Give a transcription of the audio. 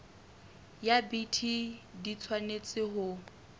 ya bt di tshwanetse ho